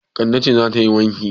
Kande ce za ta yi wanki.